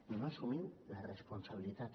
i no assumiu la responsabilitat